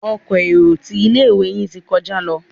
Ọkọ̀ èrò tí ilé-ìwé yin tí kọjá ló.